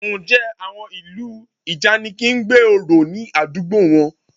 Ǹjẹ́ àwọn ìlú ìjànikin ń gbé orò ní àdúgbò wọn?